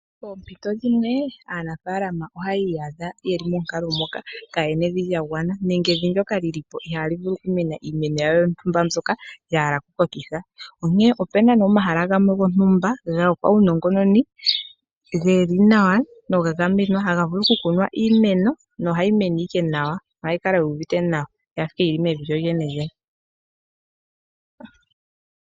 Poompito dhimwe aanafaalama ohaya iyadha yeli monkalo moka kaayena evi lya gwana nenge evi ndoka lili po ihaali vulu okumena iimeno yawo yontumba mbyoka ya hala okukokitha. Onkene opuna omahala gamwe gontumba gopaunongononi geli nawa noga gamenwa haga vulu oku kunwa iimeno nohayi mene nawa nohayi kala yuuvite nawa yafa owala yili mevi lyo lyene lyene.